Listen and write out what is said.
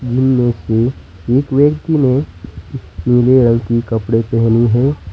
इनमें से एक व्यक्ति ने पीले रंग के कपड़े पहनी है।